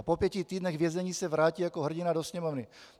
A po pěti týdnech vězení se vrátí jako hrdina do sněmovny.